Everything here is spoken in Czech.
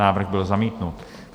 Návrh byl zamítnut.